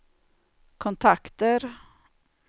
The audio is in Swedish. kontakter